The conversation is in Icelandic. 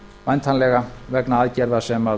væntanlega vegna aðgerða sem